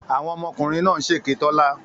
Àwọn ọmọkùnrin náà ń ṣèké Tọ́lá.